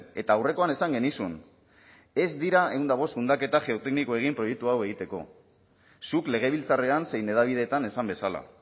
eta aurrekoan esan genizun ez dira ehun eta bost zundaketa geotekniko egin proiektu hau egiteko zuk legebiltzarrean zein hedabideetan esan bezala